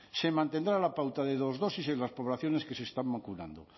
se mantendrá la pauta de dos dosis en las poblaciones que se están vacunando